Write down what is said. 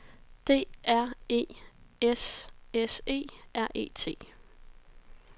D R E S S E R E T